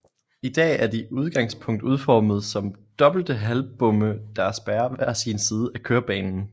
I dag er de udgangspunkt udformet som dobbelte halvbomme der spærrer hver sin side af kørebanen